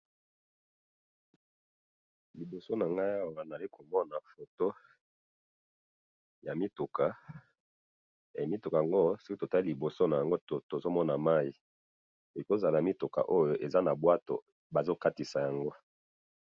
liboso nangayi awa nazali komona foto ya mituka mituka yango soki totali na liboso nayango eza na bwato soki totali malamu bazo katisa yango.